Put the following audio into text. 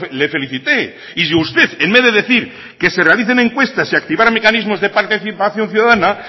le felicité y si usted en vez de decir que se realicen encuestas y activar mecanismos de participación ciudadana